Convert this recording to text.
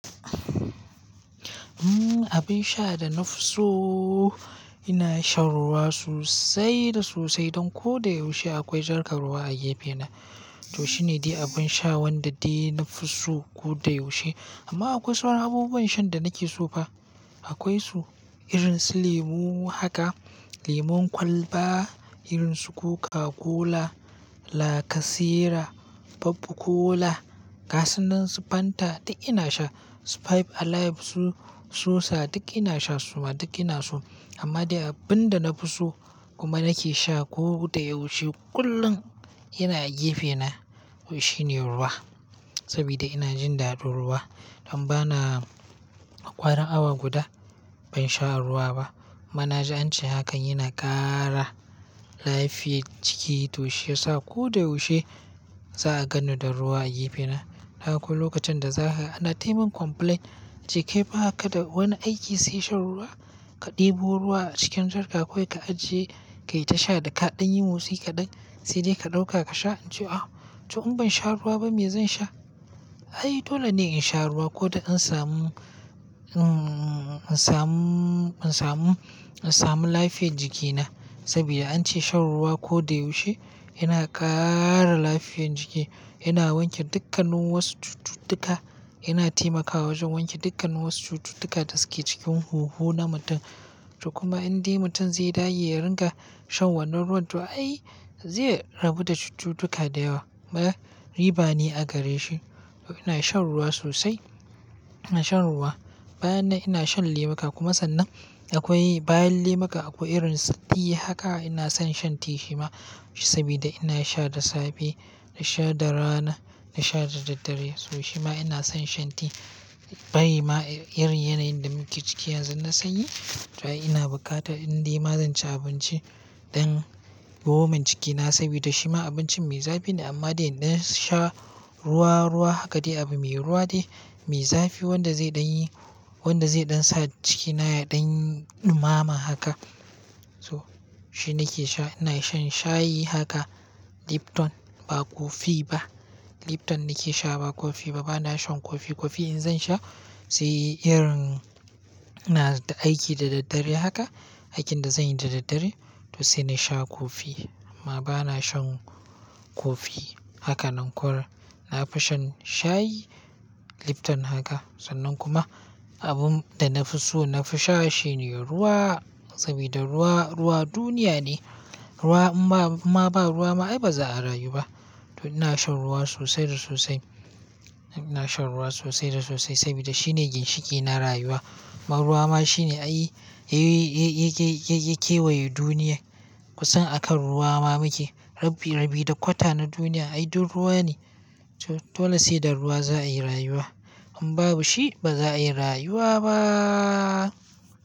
Abin sha da na fi so ina shan ruwa sosai da sosai. Don ko da yaushe akwai jarkar ruwa a gefe na. To shine dai abin sha wanda dai na fi so ko da yaushe. Amma akwai sauran abubuwan shan da nake so fa. Akwai su irin su lemu haka, lemon kwalba, irin su koka kola, lacasera, fabb kola, gasinan su fanta duk ina sha. Sprite, alive, sosa duk ina sha suma duk ina so. Amma dai abin da na fi so kuma nake sha ko da yaushe kullum yana a gefe na. To shine ruwa. Saboda ina jin ɗado ruwa. Don ba na ƙwarin awa guda ban sha ruwa ba. Amma na ji ance hakan yana ƙara lafiyar jiki. To shi yasa ko da yaushe za a gano da ruwa a gefe na. Haka lokacin da za ka ana taimin complaint ka ce kai ba ka da wani aiki sai shan ruwa? Ka ɗebo ruwa a cikin jarka kawai ka ajiye ka yi ta sha daga ɗan yimo sai kaɗan sai dai ka ɗauka ka sha. In ce ah to in ban sha ruwa ba me zan sha? Ai dole ne in sha ruwa ko da in samu, in samu, in samu, in samu lafiyar jikina. Saboda an ce shan ruwa ko da yaushe yana ƙara lafiyar jiki. Yana wanke dukkanin wasu cututtuka, yana taimakawa wajen wanke dukkanin wasu cututtuka da suke cikin huhu na mutum. To kuma in dai mutum zai dage ya ringa shan wannan ruwan, to ai zai rabu da cututtuka da yawa. Ma riba ne a gare shi. To ina shan ruwa sosai. Ina shan ruwa. Bayan na ina shan lemuka. Kuma sannan akwai bayan lemuka akwai irin su tiyi haka ina son shan tiyi shima. Saboda ina sha da safe, ina sha da rana, ina sha da daddare. To shima ina son shan tiyi. Bari ma irin yanayin da muke ciki yanzu na sanyi. To ai ina bukata in dai ma zanci abinci don gwaman cikin na. Saboda shima abincin mai zafi ne. Amma dai in na sha ruwa, ruwa haka dai abu mai ruwa dai mai zafi wanda zai ɗan yi, wanda zai ɗan sa cikin na ya ɗan ɗumama haka. So shi nake sha. Ina shan shayi haka lipton ba kofi ba. Lipton nake sha ba kofi ba. Bana shan kofi. Kofi in zan sha sai irin ina da aiki da daddare haka, aikin da zanyi da daddare to sai na sha kofi. Amma ba na shan kofi haka nan kwar. Na fi shan shayi lipton haka. Sannan kuma abun da na fi so na fi sha shine ruwa. Saboda ruwa, ruwa duniya ne. Ruwa in ba ma ba ruwa ma ai ba za a rayu ba. To ina shan ruwa sosai da sosai. Ina shan ruwa sosai da sosai saboda shine ginshiƙi na rayuwa. Ruwa ma shine ai ya kewaye duniya. Kusan akan ruwa ma muke. Rabi, rabi da kwata na duniya ai duk ruwa ne. To dole sai da ruwa za a yi rayuwa. In babu shi ba za a yi rayuwa ba.